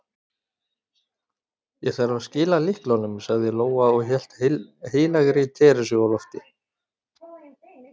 Ég þarf að skila lyklunum, sagði Lóa og hélt heilagri Teresu á lofti.